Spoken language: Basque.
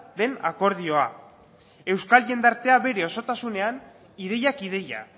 den akordioa euskal jendartea bere osotasunean ideiak ideia